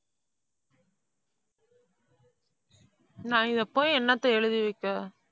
நான் இதை போய் என்னத்த எழுதி வைக்க?